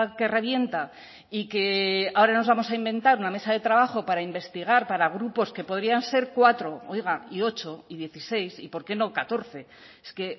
que revienta y que ahora nos vamos a inventar una mesa de trabajo para investigar para grupos que podrían ser cuatro oiga y ocho y dieciséis y por qué no catorce es que